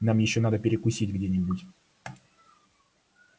нам ещё надо перекусить где-нибудь